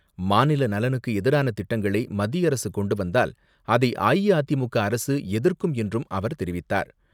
மாநில நலனுக்கு எதிரான திட்டங்களை மத்திய அரசு கொண்டு வந்தால் அதை அஇஅதிமுக அரசு எதிர்க்கும் என்றும் அவர் தெரிவித்தார்.